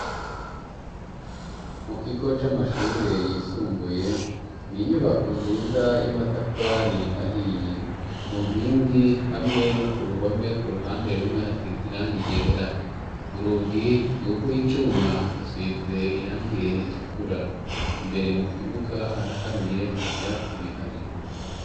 Mu kigo c'amashure yisumbuye ni inyubako nziza y'amatafari ahiye ku nkingi hamwe no ku ruhome ku ruhande rumwe hasize irangi ryera urugi n'urw'icuma rusize irangi ritukura imbere mu kibuga haraharuye nta vyatsi bihari.